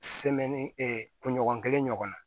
kunɲɔgɔn kelen ɲɔgɔnna